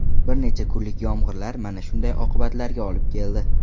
Bir necha kunlik yomg‘irlar mana shunday oqibatlarga olib keldi.